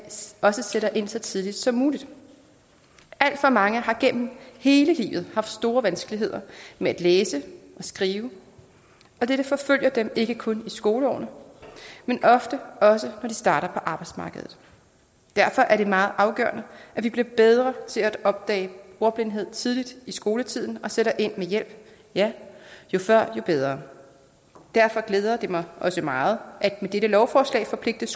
også sætter ind så tidligt som muligt alt for mange har gennem hele livet haft store vanskeligheder med at læse og skrive og dette forfølger dem ikke kun i skoleårene men ofte også når de starter på arbejdsmarkedet derfor er det meget afgørende at vi bliver bedre til at opdage ordblindhed tidligt i skoletiden og sætter ind med hjælp ja jo før jo bedre derfor glæder det mig også meget at skolelederne med dette lovforslag forpligtes